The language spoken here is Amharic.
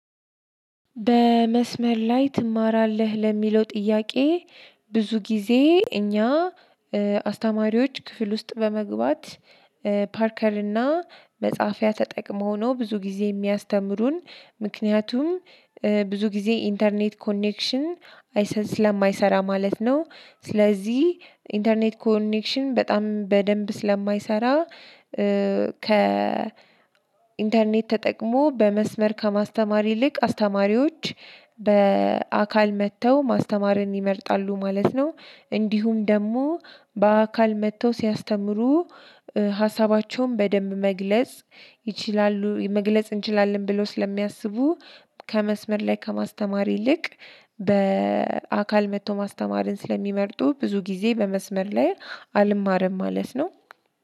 በመስመር ላይ ትማራለህ ለሚለው ጥያቄ? ብዙ ጊዜ እኛ አስተማሪዎች ክፍል ውስጥ በመግባት ፓርከር እና መጽሐፊያ ተጠቅመው ነው ብዙ ጊዜ የሚያስተምሩን። ምክንያቱም ብዙ ጊዜ ኢንተርኔት ኮኔክሽን ስለማይሰራ ማለት ነው። ስለዚህ ኢንተርኔት ኮኔክሽን በጣም በደንብ ስለማይሰራ ከ ኢንተርኔት ተጠቅሞ በመስመር ከማስተማር ይልቅ አስተማሪዎች በአካል መጥተው ማስተማርን ይመርጣሉ ማለት ነው። እንዲሁም ደግሞ በአካል መጥተው ሲያስተምሩ ሀሳባቸውን በደንብ መግለጽ ይችላሉ መግለጽ እንችላለን ብለው ስለሚያስቡ። ከመስመር ላይ ከማስተማር ይልቅ በአካል መጥቶ ማስተማርን ስለሚመርጡ ብዙ ጊዜ በመስመር ላይ አልማረም ማለት ነው።